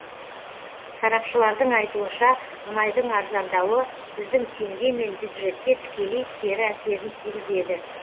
сарапшылардың айтуынша мұнайдың арзандауы біздің теңге мен бюджетке тікелей кері әсерін тигізеді